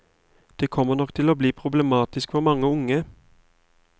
Det kommer nok til å bli problematisk for mange unge.